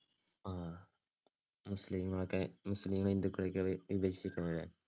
ആഹ് മുസ്ലീങ്ങളൊക്കെ, മുസ്ലീങ്ങളെ ഹിന്ദുക്കളെയൊക്കെ വിഭജിക്കണ അല്ലേ